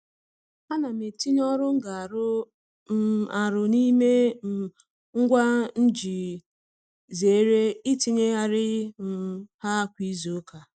Ana m etinye ọrụ m ga-arụ um arụ n'ime um ngwa m iji zeere itinyegharị um ha kwa izuụka.